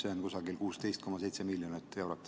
See on kusagil 16,7 miljonit eurot.